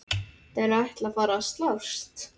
Þeir ætla að fara að slást!